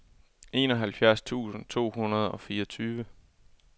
enoghalvfjerds tusind to hundrede og fireogtyve